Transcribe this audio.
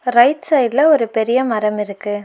Right சைடுல ஒரு பெரிய மரம் இருக்கு.